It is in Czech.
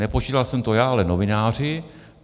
Nepočítal jsem to já, ale novináři.